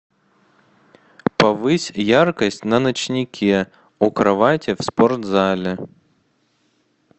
повысь яркость на ночнике у кровати в спортзале